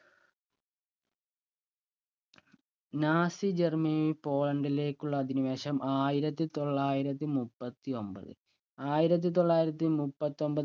Nazi Germany പോളണ്ടിലേക്കുള്ള അധിനിവേശം ആയിരത്തി തൊള്ളായിരത്തി മുപ്പൊത്തിയൊമ്പത് ആയിരത്തി തൊള്ളായിരത്തി മുപ്പൊത്തിയൊമ്പത്